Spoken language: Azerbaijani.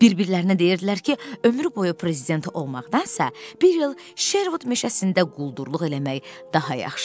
Bir-birlərinə deyirdilər ki, ömrü boyu prezident olmaqdansa, bir il Şervud meşəsində quldurluq eləmək daha yaxşıdır.